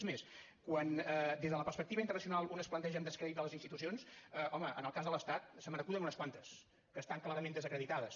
encara més quan des de la perspectiva internacional un es planteja el descrèdit de les institucions home en el cas de l’estat se me n’acuden unes quantes que estan clarament desacreditades